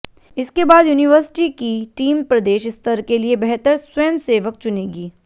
इसके बाद यूनिवर्सिटी की टीम प्रदेश स्तर के लिए बेहतर स्वयंसेवक चुनेगी